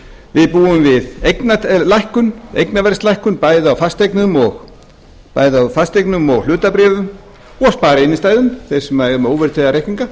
við búum við eignaverðslækkun bæði á fasteignum og hlutabréfum og spariinnstæðum þeir sem eru með óverðtryggða reikninga